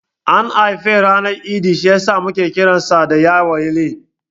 An haife shi ranar Idi, shi yasa muke kiransa da Yawale.